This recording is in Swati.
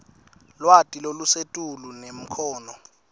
lwati lolusetulu nemakhono